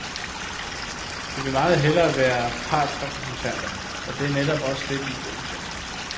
De vil meget hellere være partsrepræsentanter, og det er netop også det, de er gode til.